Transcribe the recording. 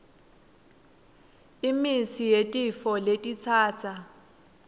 imitsi yetifo letitsatsa